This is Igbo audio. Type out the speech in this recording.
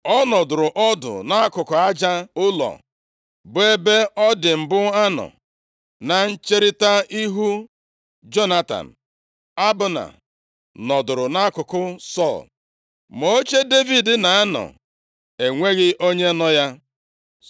Ọ nọdụrụ ọdụ nʼakụkụ aja ụlọ, bụ ebe ọ dị mbụ anọ, na ncherita ihu Jonatan. Abna nọdụrụ nʼakụkụ Sọl, ma oche Devid na-anọ enweghị onye nọ ya.